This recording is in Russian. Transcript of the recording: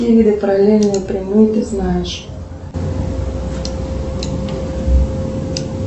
какие параллельные прямые ты знаешь